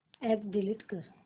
app delete कर